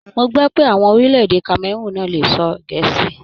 Mó gbọ pé àwọn ọmọ orílẹ̀-èdè Kameroon náà lè sọ gẹ̀ẹ́si.